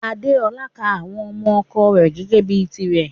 Adéọlá ká àwọn ọmọ ọ̀kọ rè gẹ́gẹ bi tìrè.